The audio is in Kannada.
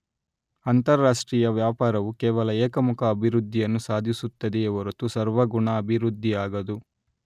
ಅಂತರಾಷ್ಟ್ರೀಯ ವ್ಯಾಪಾರವು ಕೇವಲ ಏಕಮುಖ ಅಭಿವೃದ್ಧಿಯನ್ನು ಸಾಧಿಸುತ್ತದೆಯೇ ಹೊರತು ಸರ್ವಗುಣ ಅಭಿವೃದ್ಧಿಯಾಗದು